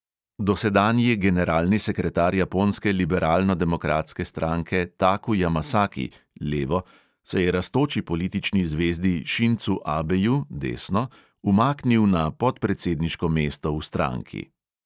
Dosedanji generalni sekretar japonske liberalnodemokratske stranke taku jamasaki se je rastoči politični zvezdi šincu abeju umaknil na podpredsedniško mesto v stranki.